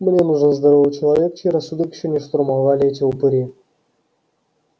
мне нужен здоровый человек чей рассудок ещё не штурмовали эти упыри